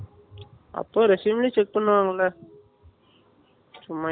அப்போ resume லயும் check பண்ணுவாங்களா சும்மா